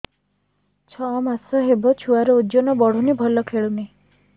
ଛଅ ମାସ ହବ ଛୁଆର ଓଜନ ବଢୁନି ଭଲ ଖେଳୁନି